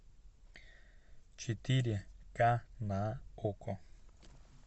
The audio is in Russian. четыре ка на окко